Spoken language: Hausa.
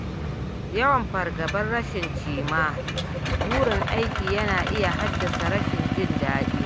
Yawan fargabar rashin cimma burin aiki yana iya haddasa rashin jin daɗi.